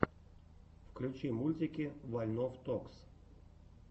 включи мультики вольнов токс